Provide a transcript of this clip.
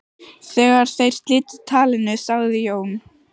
Þegar þeir slitu talinu sagði Jón